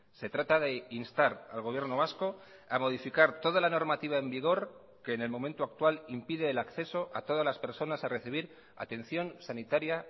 se trata de instar al gobierno vasco a modificar toda la normativa en vigor que en el momento actual impide el acceso a todas las personas a recibir atención sanitaria